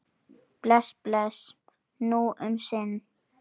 Bless, bless, nú um sinn.